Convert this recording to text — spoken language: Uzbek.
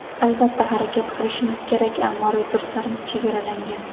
Albatta, harakat qilishimiz kerak, ammo resurslarimiz chegaralangan.